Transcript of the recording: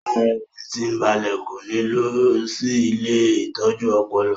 Ara rẹ̀ tí ń balẹ̀ kò ní lọ sí ilée ìtọ́jú ọpọlọ